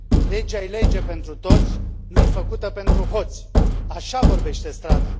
Legea e lege pentru toți, nu i făcută pentru hoți! Așa vorbește strada.